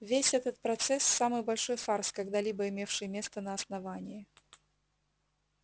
весь этот процесс самый большой фарс когда-либо имевший место на основании